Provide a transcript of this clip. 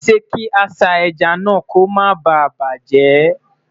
ṣé kà sá ejá nà kò má bá bajẹ?